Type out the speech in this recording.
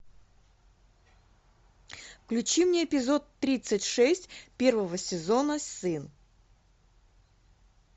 включи мне эпизод тридцать шесть первого сезона сын